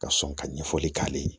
Ka sɔn ka ɲɛfɔli k'ale ye